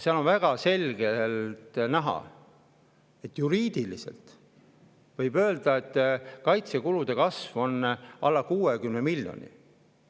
Seal on väga selgelt näha, et juriidiliselt võib öelda, et kaitsekulude kasv on alla 60 miljoni.